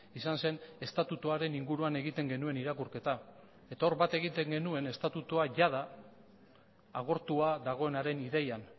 izan zen estatutuaren inguruan egiten genuen irakurketa eta hor bat egiten genuen estatutua jada agortua dagoenaren ideian